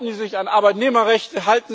Halten sie sich an Arbeitnehmerrechte?